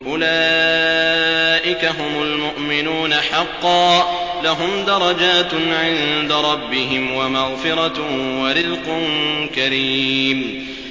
أُولَٰئِكَ هُمُ الْمُؤْمِنُونَ حَقًّا ۚ لَّهُمْ دَرَجَاتٌ عِندَ رَبِّهِمْ وَمَغْفِرَةٌ وَرِزْقٌ كَرِيمٌ